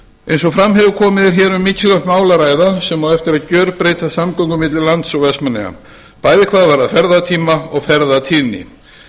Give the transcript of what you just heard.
eins og fram hefur komið er hér um mikilvægt mál að ræða sem á eftir að gjörbreyta samgöngum milli lands og vestmannaeyja bæði hvað varðar ferðatíma og ferðatíðni